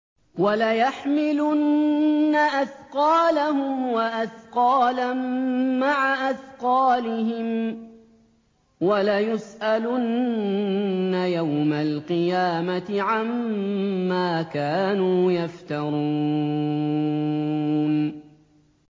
وَلَيَحْمِلُنَّ أَثْقَالَهُمْ وَأَثْقَالًا مَّعَ أَثْقَالِهِمْ ۖ وَلَيُسْأَلُنَّ يَوْمَ الْقِيَامَةِ عَمَّا كَانُوا يَفْتَرُونَ